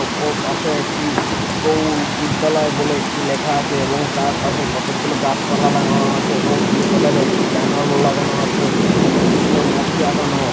ওপর পাশে একটি গৌড় বিদ্যালয় বলে একটি লেখা আছে এবং তার পাশে কতগুলো গাছপালা লাগানো আছে এবং ব্লু কালার এর একটি ব্যানার লাগানো আছে তাঁতে কৃষ্ণমূর্তি আঁকানো।